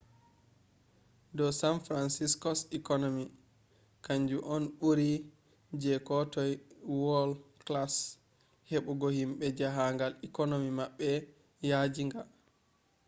do san francisco’s economy kanju on ɓuri je ko toi world-class heɓugo himɓe jahangal economy maɓɓe yaajinga